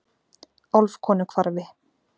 Álfkonuhvarfi